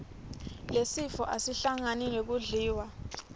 lesifo asihlangani nekudliwa